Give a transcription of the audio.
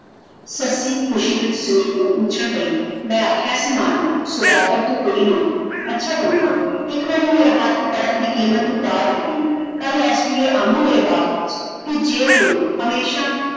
ਸੱਸੀ ਖੁਸ਼ੀ ਵਿਚ ਜ਼ਮੀਨ ਨੂੰ ਉਛੱਲ ਪਈ ।ਮੈ ਆਖਿਆ ਸੀ ਮਾਂ ਨੂੰ ਸੌਦਾਗਰ ਤੂੰ ਕੋਈ ਨਹੀਂ ਅੱਛਾ ਪੁੰਨੂ ਆਂ। ਇਕ ਵਾਰੀ ਮੇਰਾ ਹੱਥ ਫੜਨ ਦੀ ਕੀਮਤ ਤੂੰ ਤਾਰ ਦਿੱਤੀ । ਕੱਲ ਏਸ ਵੇਲੇ ਤੂੰ ਆਵੀਂ ਮੇਰੇ ਬਾਗ ਵਿਚ ਜੇ ਤੂੰ ਹਮੇਸ਼ਾ